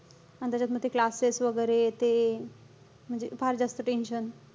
आणि त्याच्यात म ते classes वगैरे ते. म्हणजे फार जास्त tension.